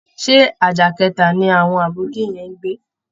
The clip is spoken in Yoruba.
Ṣé àjà kẹta ni àwọn Àbóki yẹn ń gbé?